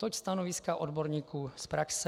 Toť stanoviska odborníků z praxe.